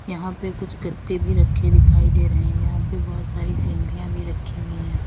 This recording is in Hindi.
यहां पे कुछ गत्ते भी रखे दिखाई दे रहे हैं। यहां पे बहोत सारी सिनरियाँ भी रखी हुई हैं।